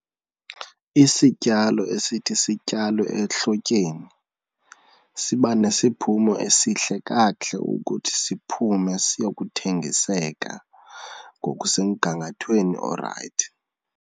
Isityalo esithi sityalwe ehlotyeni siba nesiphumo esihle kakuhle ukuthi siphume siyokuthengiseka ngokusemgangathweni orayithi.